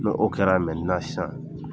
N'o kɛra sisan.